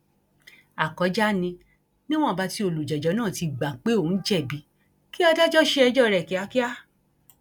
àkọjá ni níwọnba tí olùjẹjọ náà ti gbà pé òun jẹbi kí adájọ ṣe ẹjọ rẹ kíákíá